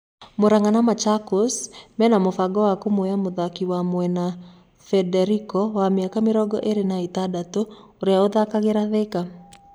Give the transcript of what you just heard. Muranga na Machakos mena mũbango wa kũmuoya mũthaki wa mwena Federico wa míaka mĩrongo ĩrĩ na ĩtandatũ ũrĩa ũthakagĩra Thika.